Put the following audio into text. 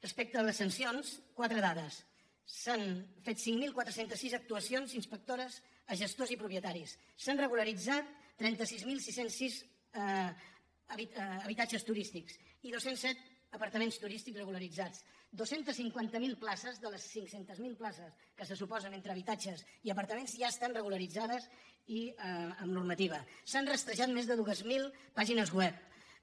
respecte a les sancions quatre dades s’han fet cinc mil quatre cents i sis actuacions inspectores a gestors i propietaris s’han regularitzat trenta sis mil sis cents i sis habitatges turístics i dos cents i set apar·taments turístics regularitzats dos cents i cinquanta miler places de les cinquanta miler places que se suposen entre habitatges i apar·taments ja estan regularitzades i amb normativa s’han rastrejat més de dos mil pàgines web